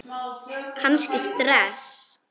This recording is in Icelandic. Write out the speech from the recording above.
Kannski stress?